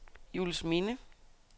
Juelsminde